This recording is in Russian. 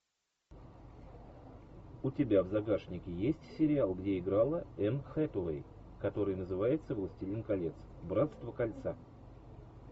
у тебя в загашнике есть сериал где играла энн хэтэуэй который называется властелин колец братство кольца